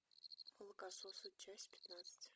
молокососы часть пятнадцать